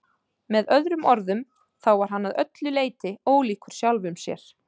Með öðrum orðum, þá var hann að öllu leyti ólíkur sjálfum sér.